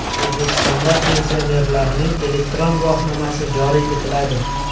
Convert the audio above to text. O‘zbekistonda pensionerlarning elektron guvohnomasi joriy etiladi.